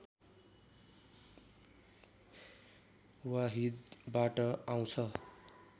वाहिदबाट आउँछ